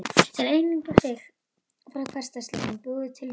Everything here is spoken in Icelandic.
Til að einangra sig frá hversdagsleikanum búið til nýtt tungumál